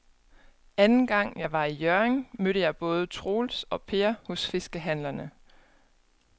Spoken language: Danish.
Anden gang jeg var i Hjørring, mødte jeg både Troels og Per hos fiskehandlerne.